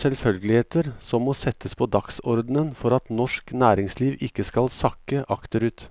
selvfølgeligheter som må settes på dagsordenen for at norsk næringsliv ikke skal sakke akterut.